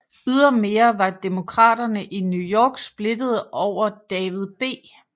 Ydermere var Demokraterne i New York splittede over David B